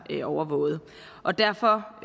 overvåget og derfor